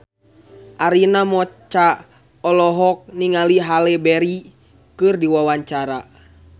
Arina Mocca olohok ningali Halle Berry keur diwawancara